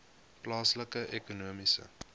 plaaslike ekonomiese